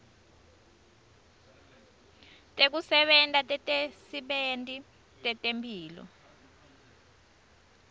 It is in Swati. tekusebenta tetisebenti tetemphilo